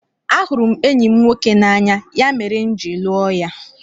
Ahụrụ m enyi m nwoke n'anya, ya mere m ji lụọ ya.